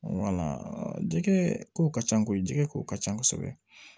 jɛgɛ kow ka ca koyi jɛgɛ ko ka ca kosɛbɛ